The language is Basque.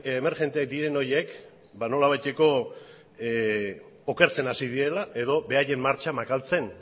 emergente diren horiek ba nolabaiteko okertzen hasi direla edo beraien martxa makaltzen